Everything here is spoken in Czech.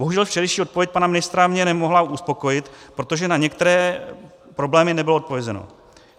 Bohužel včerejší odpověď pana ministra mě nemohla uspokojit, protože na některé problémy nebylo odpovězeno.